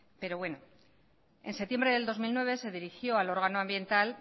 pero bueno en septiembre del dos mil nueve se dirigió al órgano ambiental